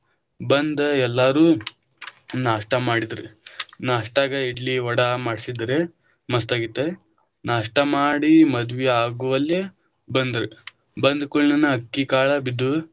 ಬಂದ ಎಲ್ಲಾರು ನಾಸ್ಟಾ ಮಾಡಿದ್ರ, ನಾಸ್ಟಾಗ ಇಡ್ಲಿ ವಡಾ ಮಾಡ್ಸಿದ್ರ ಮಸ್ತ ಆಗಿತ್ತ, ನಾಷ್ಟಾ ಮಾಡಿ ಮದ್ವಿ ಆಗುವಲ್ಲೇ ಬಂದ್ರ ಬಂದ ಕೂಡ್ಲೆನ ಅಕ್ಕಿಕಾಳ ಬಿದ್ದವು.